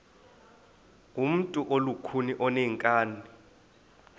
ngumntu olukhuni oneenkani